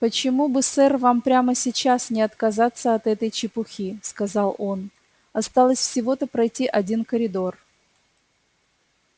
почему бы сэр вам прямо сейчас не отказаться от этой чепухи сказал он осталось всего-то пройти один коридор